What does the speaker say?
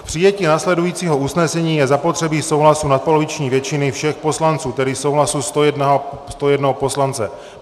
K přijetí následujícího usnesení je zapotřebí souhlasu nadpoloviční většiny všech poslanců, tedy souhlasu 101 poslance.